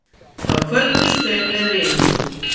Þá kvöddust þau með vináttu.